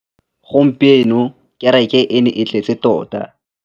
Gompieno kêrêkê e ne e tletse tota.